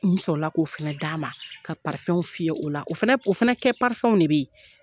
N sɔrɔ la k'o fana d'a ma ka fiyɛ o la o fana o fana kɛ de bɛ ye.